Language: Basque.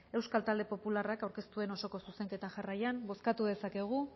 euskal talde popularrak aurkeztu duen zuzenketa jarraian bozkatu dezakegu